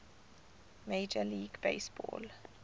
major league baseball